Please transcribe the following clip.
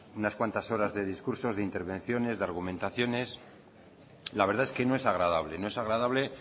unas cuentas horas de discursos de intervenciones de argumentaciones la verdad es que no es agradable no es agradable